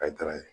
A ye taara ye